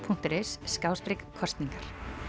punktur is kosningar